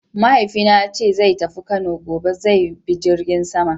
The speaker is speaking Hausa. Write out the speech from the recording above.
Mahaifina yace zai tafi Kano gobe; zai bi jirgin sama.